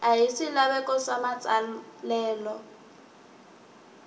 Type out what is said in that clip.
ya hi swilaveko swa matsalelo